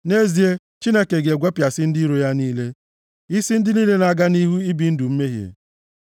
Nʼezie, Chineke ga-egwepịa isi ndị iro ya niile, isi ndị niile na-aga nʼihu ibi ndụ mmehie.